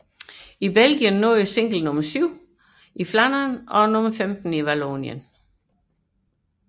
I Belgien nåede singlen nummer 7 i Flandern og nummer 15 i Vallonien